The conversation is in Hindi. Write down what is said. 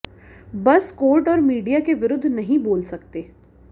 बस कोर्ट और मीडिया के विरुद्ध नहीं बोल सकते